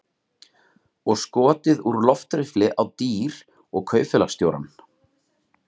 Og skotið úr loftriffli á dýr og kaupfélagsstjórann.